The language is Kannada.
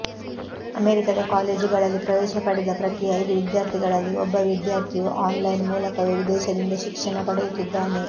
ಅಮೆರಿಕದ ಕಾಲೇಜುಗಳಲ್ಲಿ ಪ್ರವೇಶ ಪಡೆದ ಪ್ರತಿ ಐದು ವಿದ್ಯಾರ್ಥಿಗಳಲ್ಲಿ ಒಬ್ಬ ವಿದ್ಯಾರ್ಥಿಯು ಆನ್ಲೈನ್ ಮೂಲಕವೇ ವಿದೇಶಿದಿಂದ ಶಿಕ್ಷಣ ಪಡೆಯುತ್ತಿದ್ದಾನೆ